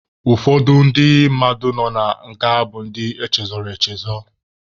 Ụfọdụ ndị mmadụ nọ na nga bụ ndị echezọrọ echezọ.